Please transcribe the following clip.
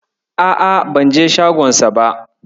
A'a, banje shagonsa ba.